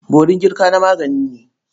Borin girka na magani ne.